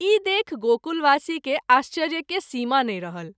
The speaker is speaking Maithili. ई देखि गोकुलवासी के आश्चर्य के सीमा नहिं रहल।